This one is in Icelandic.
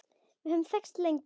Við höfum þekkst lengi